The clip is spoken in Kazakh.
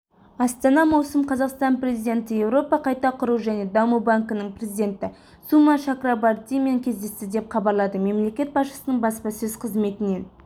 астана маусым қазақстан президенті еуропа қайта құру және даму банкінің президенті сума чакрабартимен кездесті деп хабарлады мемлекет басшысының баспасөз қызметінен